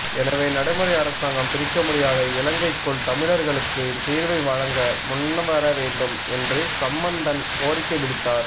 எனவே நடைமுறை அரசாங்கம் பிரிக்கமுடியாத இலங்கைக்குள் தமிழர்களுக்கு தீர்வை வழங்க முன்வரவேண்டும் என்று சம்பந்தன் கோரிக்கை விடுத்தார்